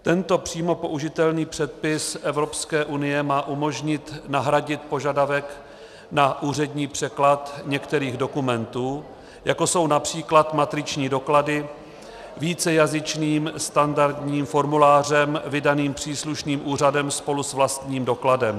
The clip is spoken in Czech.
Tento přímo použitelný předpis Evropské unie má umožnit nahradit požadavek na úřední překlad některých dokumentů, jako jsou například matriční doklady, vícejazyčným standardním formulářem vydaným příslušným úřadem spolu s vlastním dokladem.